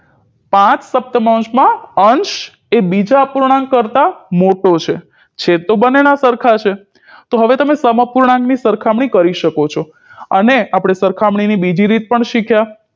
પાંચસપ્તમાંશમાં અંશ એ બીજા અપૂર્ણાંક કરતાં મોટો છે છેદ તો બંનેના સરખા છે તો હવે તમે સમઅપૂર્ણાંકની સરખામણી કરી શકો છો અને આપણે સરખમણીની બીજી રીત પણ શીખ્યા